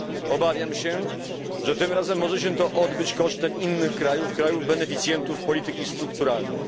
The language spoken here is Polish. Obawiam się, że tym razem może się to odbyć kosztem innych krajów, krajów beneficjentów polityki strukturalnej.